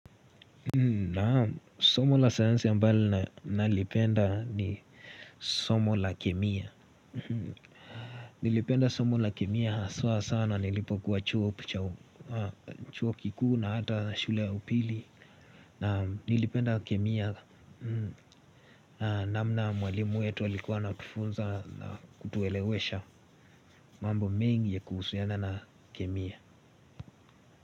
Na somo la sayansi ambalo nalipenda ni somo la kemia. Nilipenda somo la kemia haswa sana nilipokuwa chuo kikuu na hata shule ya upili. Nilipenda kemia namna mwalimu wetu alikuwa anatufunza kutuelewesha mambo mengi ya kuhusuiana na kemia.